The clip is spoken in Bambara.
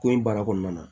Ko in baara kɔnɔna na